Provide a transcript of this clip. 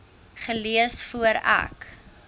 gelees voor ek